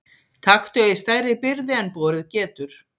Taktu ei stærri byrði en borið getur.